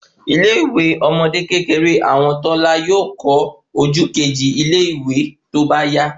Ilé ìwé ọmọde kékeré àwọn tọ́lá yóò kọ ojú keji ile iwe tóbá yà